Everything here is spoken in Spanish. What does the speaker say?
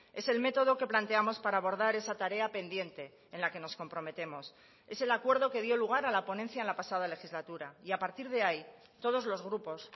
es el método que planteamos para abordar esa tarea pendiente en la que nos comprometemos es el acuerdo que dio lugar a la ponencia en la pasada legislatura y a partir de ahí todos los grupos